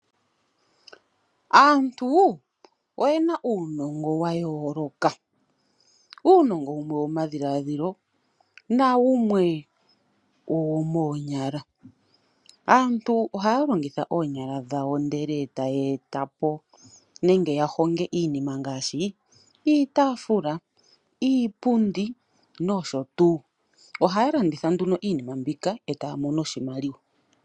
Aantu oye na uunongo wa yooloka. Uunongo wumwe owomadhiladhilo nawumwe owomoonyala. Aantu ohaya longitha oonyala dhawo, ndele taya eta po nenge ya honge iinima ngaashi iitaafula, iipundi nosho tuu. Ohaya landitha nduno iinima mbika e taya mono oshimaliwa.